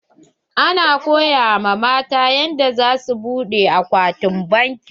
Ana koya wa matan yanda za su buɗe akwatin banki.